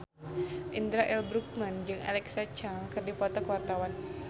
Indra L. Bruggman jeung Alexa Chung keur dipoto ku wartawan